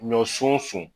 Ɲɔsun sun